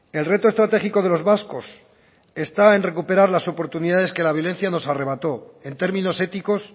el reto estratégico de los vascos está en recuperar las oportunidades que la violencia nos arrebató en términos éticos